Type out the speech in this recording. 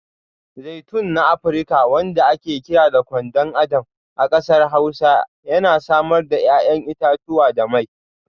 Zaitun na Afirka wanda ake kira Kwadon Adam a kasar Hausa yana samar da 'ya'yan itatuwa da mai.